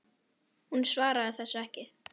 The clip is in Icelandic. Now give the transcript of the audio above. Hún svaraði þessu ekki.